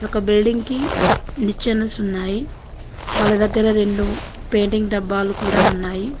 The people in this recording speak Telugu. ఒక బిల్డింగ్ కి నిచ్చెనస్ ఉన్నాయి వాళ్ల దగ్గర రెండు పెయింటింగ్ డబ్బాలు కూడా ఉన్నాయి.